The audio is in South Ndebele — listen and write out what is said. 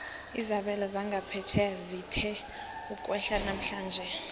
izabelo zangaphetjheya zithe ukwehla namhlanje